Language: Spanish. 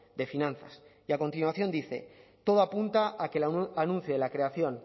de finanzas y a continuación dice todo apunta a que el anuncio de la creación